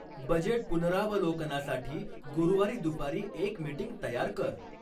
budget पुनरावलोकनासाठी गुरुवारी दुपारी एक मिटिंग तयार कर